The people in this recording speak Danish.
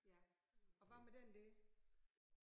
Ja og hvad med den der?